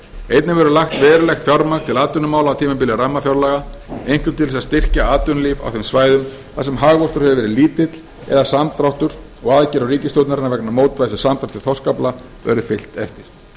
einnig verður lagt verulegt fjármagn til atvinnumála á tímabili rammafjárlaga einkum til þess að styrkja atvinnulíf á þeim svæðum þar sem hagvöxtur hefur verið lítill eða samdráttur og aðgerðum ríkisstjórnarinnar vegna mótvægis við samdrátt í þorskafla verður fylgt eftir